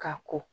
Ka ko